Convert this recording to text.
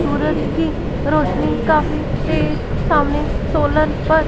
सूरज की रोशनी काफी तेज सामने सोलर पर--